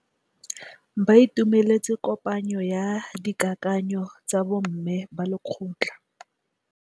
Ba itumeletse kôpanyo ya dikakanyô tsa bo mme ba lekgotla.